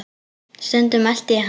Stundum elti ég hana.